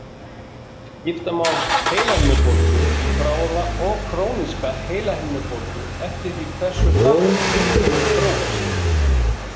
Skipta má heilahimnubólgu í bráða og króníska heilahimnubólgu eftir því hversu hratt einkennin þróast.